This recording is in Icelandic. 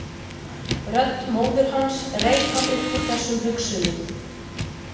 Rödd móður hans reif hann upp úr þessum hugsunum.